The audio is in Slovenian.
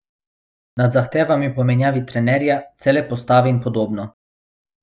Nad zahtevami po menjavi trenerja, cele postave in podobno.